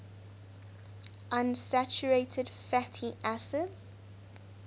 unsaturated fatty acids